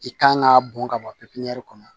I kan ka bɔn ka bɔ pipiniyɛri kɔnɔ